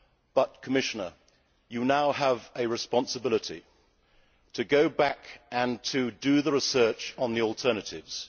use. But, Commissioner, you now have a responsibility to go back and do the research on the alternatives.